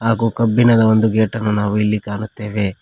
ಹಾಗು ಕಬ್ಬಿಣದ ಒಂದು ಗೇಟ್ ಅನ್ನು ನಾವು ಇಲ್ಲಿ ಕಾಣುತ್ತೇವೆ.